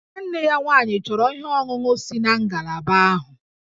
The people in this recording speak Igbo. Nwanne ya nwaanyị chọrọ ihe ọṅụṅụ si na ngalaba ahụ